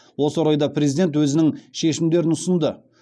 осы орайда президент өзінің шешімдерін ұсынды